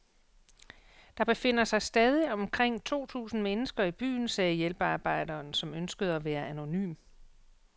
Der befinder sig stadig omkring to tusind mennesker i byen, sagde hjælpearbejderen, som ønskede at være anonym.